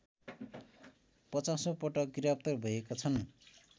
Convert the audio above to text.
पचासैाँ पटक गिरफ्तार भएका छन्